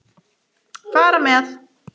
Fara með.